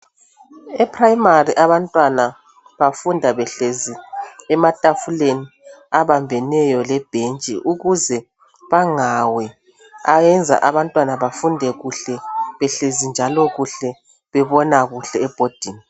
Eprimary abantwana bafunda behlezi ematafuleni abambeneyo lebhentshi ukuze bangawi ayenza abantwanabafunde kuhle behlezi njalo kuhle bebona kuhle ebhodini.